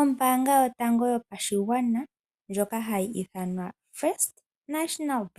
Ombaanga yotango yopashigwana hayi ithanwa Fnb